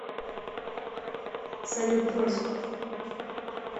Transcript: салют брось